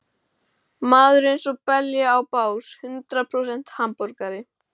Maður er einsog belja á bás, hundrað prósent hamborgari.